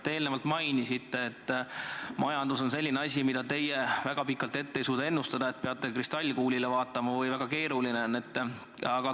Te enne mainisite, et majandus on selline asi, mida teie väga pikalt ette ei suuda ennustada, et peate kristallkuuli vaatama ja väga keeruline on.